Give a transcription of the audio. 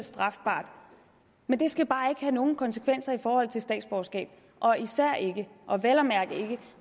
strafbart men det skal bare ikke have nogen konsekvenser i forhold til statsborgerskab og især ikke og vel at mærke ikke